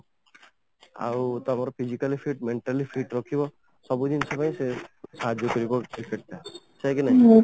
ଆଉ ତମର physically fit mentally fit ରଖିବ ସବୁଜିନିଷ ପାଇଁ ସେ ସାହାଯ୍ୟ କରିବ cricket ଟା କାହିଁକିନା